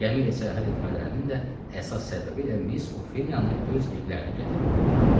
Gəmi ilə səyahət etmələrinin də əsas səbəbi elə Miss Ofeliyanı öz evlərinə gətirmək idi.